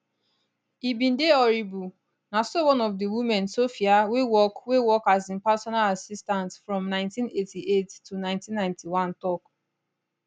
he bin dey horrible na so one of di women sophia wey work wey work as im personal assistant from 1988 to 1991 tok